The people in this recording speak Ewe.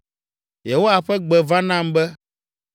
Yehowa ƒe gbe va nam be,